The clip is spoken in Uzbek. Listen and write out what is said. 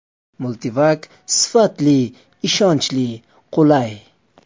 MULTIVACSifatli, ishonchli, qulay.